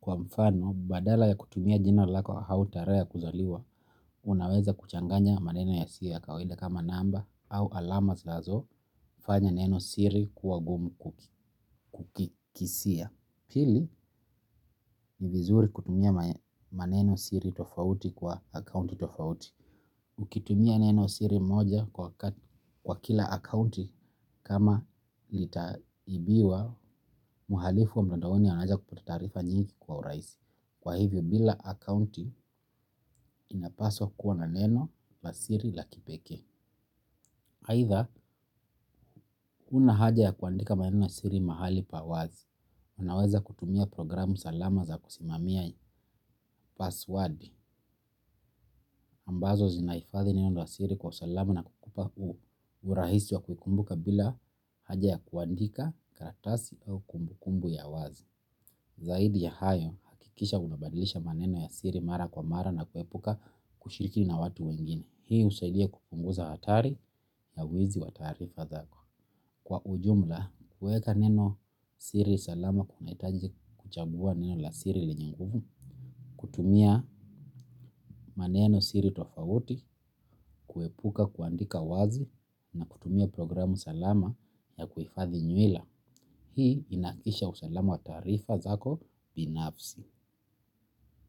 Kwa mfano badala ya kutumia jina lako au tarehe ya kuzaliwa unaeza kuchanganya maneno yasiyo ya kawaida kama namba au alama zinazofanya neno siri kuwa ngumu kukisia. Pili, ni vizuri kutumia maneno siri tofauti kwa akaunti tofauti. Ukitumia neno siri moja kwa kila akaunti kama litaibiwa, mhalifu wa mtandaoni anaeza kupata taarifa nyingi kwa urahisi. Kwa hivyo kila akaunti inapaswa kuwa na neno la siri la kipekee. Aitha, huna haja ya kuandika maneno ya siri mahali pa wazi. Unaweza kutumia programu salama za kusimamia passwadi ambazo zinahifadhi neno la siri kwa usalamu na kukupa urahisi wa kukumbuka bila haja ya kuandika karatasi au kumbukumbu ya wazi. Zaidi ya hayo hakikisha unabadilisha maneno ya siri mara kwa mara na kuepuka kushiriki na watu wengine. Hii husaidia kupunguza hatari ya wezi wataarifa zako. Kwa ujumla, kueka neno siri salama kuna hitaji kuchagua neno la siri lenye nguvu, kutumia maneno siri tofauti, kuepuka kuandika wazi, na kutumia programu salama ya kuhifadhi nywila. Hii inahakikisha usalamu wa taarifa zako binafsi.